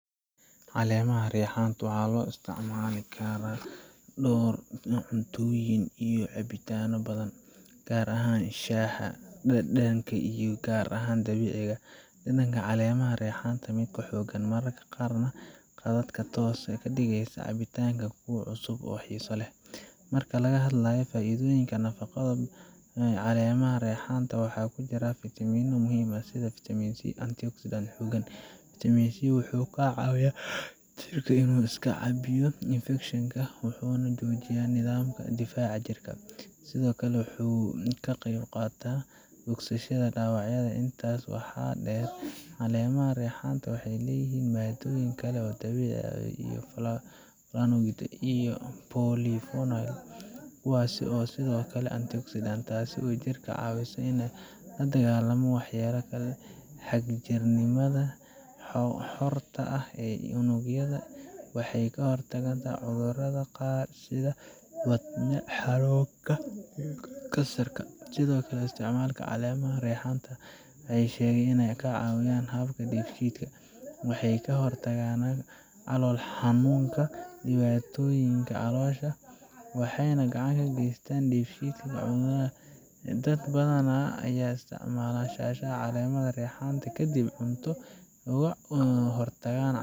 Caleemaha reexanta waxaa loo isticmaalaa in lagu daro cuntooyin iyo cabitaano badan, gaar ahaan shaaha iyo cabitaannada dhaqameed. Marka caleemahaas la isticmaalo, waxay siisaa cabitaanka ama cuntada dhadhan iyo ur gaar ah oo dabiici ah. Dhadhanka caleemaha reexanta waa mid xooggan, mararka qaarna qadhaadh, taasoo ka dhigaysa cabitaanada kuwo cusub oo xiiso leh. Marka laga hadlayo faa’iidooyinka nafaqo ee caleemaha reexanta, waxaa ku jira fitamiinno muhiim ah sida fitamiin C oo ah antioxidant xooggan. Fitamiin C wuxuu ka caawiyaa jirka inuu iska caabiyo infekshannada, wuxuu xoojiyaa nidaamka difaaca jirka, sidoo kale wuxuu ka qayb qaataa bogsashada dhaawacyada. Intaas waxaa dheer, caleemaha reexanta waxay leeyihiin maaddooyin kale oo dabiici ah sida flavonoids iyo polyphenols, kuwaas oo sidoo kale ah antioxidants, taasoo jirka ka caawisa in uu la dagaallamo waxyeelada xagjirnimada xorta ah ee unugyada, waxayna ka hortagaan cudurrada qaar sida wadne xanuunka iyo kansarka. Sidoo kale, isticmaalka caleemaha reexanta ayaa la sheegay inay ka caawiyaan habka dheefshiidka. Waxay ka hortagaan calool xanuunka iyo dhibaatooyinka caloosha, waxayna gacan ka geystaan in dheefshiidka cuntada uu si habsami leh u dhaco. Dad badan ayaa isticmaala shaaha caleemaha reexanta ka dib cunto si ay uga hortagaan